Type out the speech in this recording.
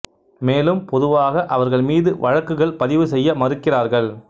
மேலும் பொதுவாக அவர்கள் மீது வழக்குகள் பதிவு செய்ய மறுக்கிறார்கள்